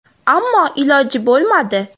Ammo iloji bo‘lmadi.